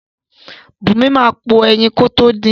Bùnmi máa po ẹyin kótó din.